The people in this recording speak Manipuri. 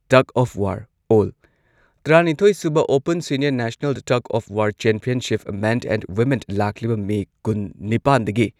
ꯇꯒ ꯑꯣꯐ ꯋꯥꯔ ꯑꯣꯜ- ꯇꯔꯥꯅꯤꯊꯣꯏ ꯁꯨꯕ open senior national tug of war championship men and women ꯂꯥꯛꯂꯤꯕ ꯃꯦ ꯀꯨꯟꯅꯤꯄꯥꯟꯗꯒꯤ